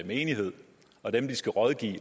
menighed og dem de skal rådgive og